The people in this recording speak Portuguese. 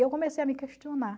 E eu comecei a me questionar.